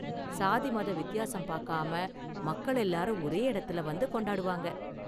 சாதி, மத வித்தியாசம் பாக்காம மக்கள் எல்லாரும் ஒரே இடத்துல வந்து கொண்டாடுவாங்க.